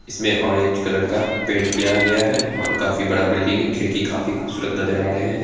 इसमे orange colour का paint किया गया है और काफी बड़ा बिल्डिंग है खिड़की काफी खूबसूरत नजर आ रहें है।